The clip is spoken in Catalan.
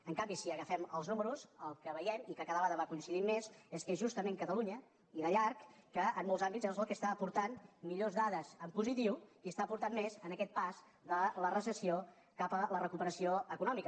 en canvi si agafem els números el que veiem i cada vegada va coincidint més és que justament catalunya i de llarg en molts àmbits és la que està aportant millors dades en positiu i està aportant més en aquest pas de la recessió cap a la recuperació econòmica